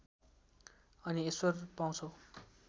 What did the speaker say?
अनि ईश्वर पाउँछौ